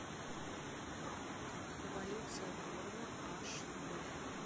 эволюция борна аш дэ